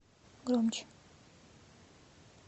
громче